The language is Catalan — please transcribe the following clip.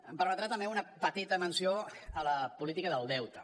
em permetrà també una petita menció a la política del deute